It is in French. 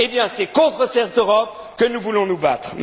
pas! Eh bien, c'est contre cette Europe que nous voulons nous battre.